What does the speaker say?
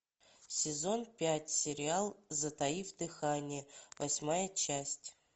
сезон пять сериал затаив дыхание восьмая часть